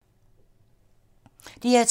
DR2